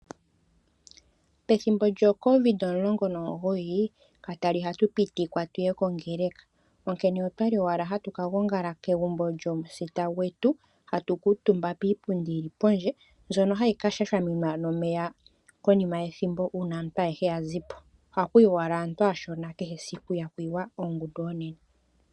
Pethimbo lyoCorona kakwali hatu pitikwa tuye kongeleka onkene okwali owala hatu ka gongala kegumbo lyomusita gwetu hatu kuutumba kiipundi yili pondje mbono hayi kashashaminwa nomeya konima yethimbo uuna aantu yazipo. Ohaku yi owala aantu aashona kehe esiku ihaku yiwa ongundu onene.